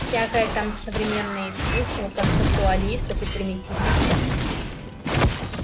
всякое там современное искусство концептуалистов и примитивистов